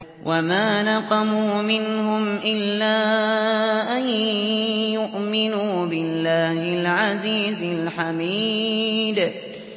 وَمَا نَقَمُوا مِنْهُمْ إِلَّا أَن يُؤْمِنُوا بِاللَّهِ الْعَزِيزِ الْحَمِيدِ